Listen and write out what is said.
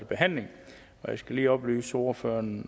behandling jeg skal lige oplyse ordføreren